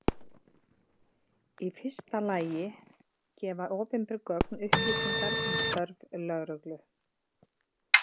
Í fyrsta lagi gefa opinber gögn upplýsingar um störf lögreglu.